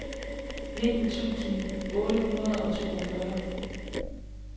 nitten tusind otte hundrede og toogfyrre